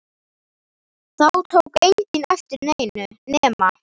Þá tók enginn eftir neinu nema